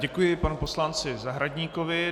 Děkuji panu poslanci Zahradníkovi.